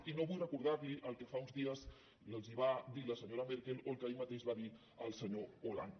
i no vull recordar li el que fa uns dies els va dir la senyora merkel o el que ahir mateix va dir el senyor hollande